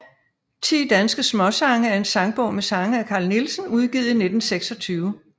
Ti danske Smaasange er en sangbog med sange af Carl Nielsen udgivet i 1926